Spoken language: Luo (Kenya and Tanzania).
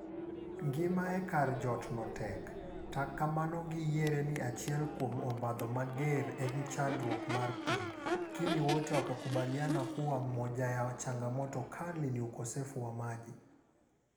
Ngima e kar jot no tek, tak kamano gi yiere ni achiel kuom obadho mager en chandruok mar pii. kini wote wanakubaliana kuwa moja ya changamoto kali ni ukosefu wa maji.